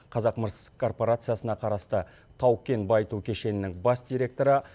қазақмыс корпорациясына қарасты тау кен байыту кешенінің бас директоры